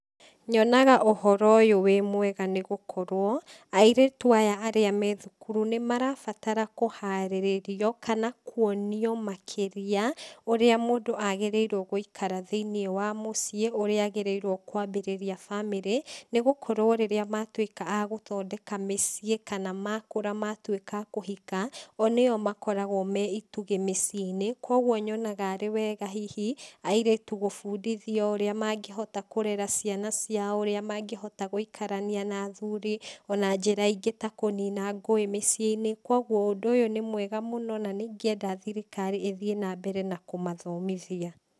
Nyonaga ũhoro ũyũ wĩ mwega nĩgũkorwo, airĩtu aya arĩa me thukuru, nĩmarabatara kũharĩrĩrio, kana kuonio makĩria, ũrĩa mũndũ agĩrĩirwo gũikara thĩinĩ wa mũciĩ ũrĩa agĩrĩirwo kwambĩrĩria bamĩrĩ, nĩgũkorwo rĩrĩa matuĩka a gũthondeka mĩciĩ kana makũra matuĩka a kũhika, o nĩo makoragwo me itugĩ mĩciĩinĩ, koguo nyonaga arĩ wega hihi, airĩtu gũbũndithio ũrĩa mangĩhota kũrera ciana ciao, ũrĩa mangĩhota gũikarania na athuri, ona njĩra ingĩ ta kũnina ngũĩ mĩciĩinĩ, koguo ũndũ ũyũ nĩ mwega mũno na nĩingĩenda thirikari ĩthiĩ nambere na kũmatomithia.